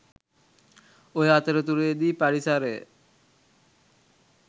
ඔය අතරතුරේදී පරිසරය